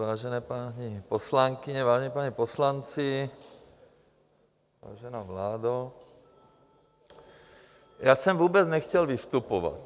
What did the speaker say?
Vážené paní poslankyně, vážení páni poslanci, vážená vládo, já jsem vůbec nechtěl vystupovat.